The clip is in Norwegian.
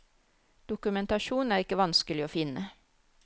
Dokumentasjon er ikke vanskelig å finne.